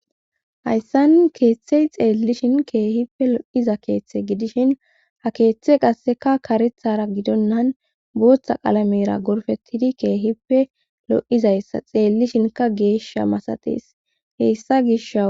hayssan keeththey xeellishin keehippe lo7iza keeththe gidishin ha keeththe qasseka karethara gidonnan booththa qalamera gorfettidi keehippe lo7izayssa xeellishinka geesha masatees heyssa gisha